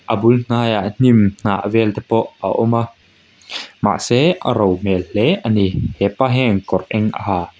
a bul hnaiah hnim hnah vel te pawh a awm a mahse a ro hmel hle ani hepa hian kawr eng a ha.